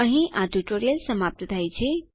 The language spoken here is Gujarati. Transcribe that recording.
અહીં આ ટ્યુટોરીયલ સમાપ્ત થાય છે